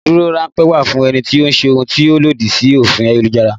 Ìdádúró ránpẹ́ wà fún ẹni tó ṣe ohun tí ó lòdì sí òfin ayélujára